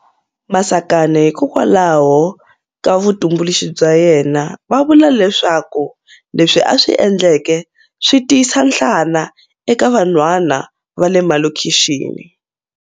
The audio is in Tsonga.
Masakane hikokwalaho ka vutumbuluxi bya yena, va vula leswaku leswi a swi endleke swi tiyisa nhlana eka vanhwana va le malokhixini.